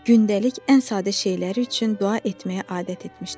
Gündəlik ən sadə şeylər üçün dua etməyə adət etmişdi.